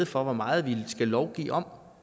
for hvor meget vi skal lovgive om